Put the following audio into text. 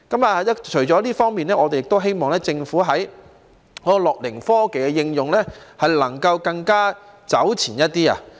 除了這方面，我們亦希望政府在"樂齡科技"的應用方面能夠走前一點。